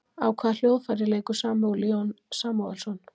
Á hvaða hljóðfæri leikur Samúel Jón Samúelsson?